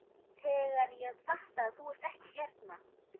Ég græt þegar ég fatta að þú ert ekki hérna.